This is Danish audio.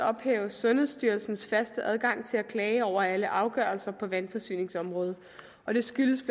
ophæves sundhedsstyrelsens faste adgang til at klage over alle afgørelser på vandforsyningsområdet og det skyldes